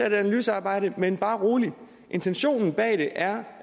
et analysearbejde men bare rolig intentionen bag det er